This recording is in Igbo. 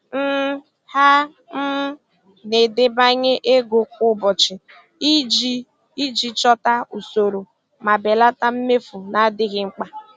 um Ha um na-edebanye ego kwa ụbọchị iji iji chọta usoro ma belata mmefu na-adịghị mkpa.